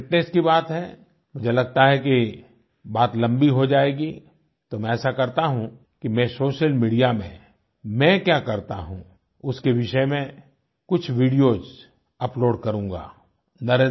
जहाँ तक फिटनेस की बात है मुझे लगता है कि बात लम्बी हो जाएगी तो मैं ऐसा करता हूँ कि मैं सोशल मीडिया में मैं क्या करता हूँ उसके विषय में कुछ वीडियोस अपलोड करूंगा